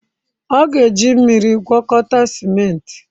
Ọ ga-eji mmiri gwakọta ciment.